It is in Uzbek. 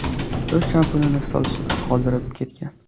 U shampunini stol ustida qoldirib ketgan.